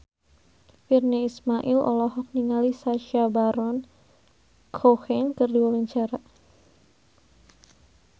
Virnie Ismail olohok ningali Sacha Baron Cohen keur diwawancara